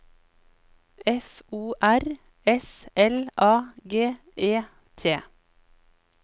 F O R S L A G E T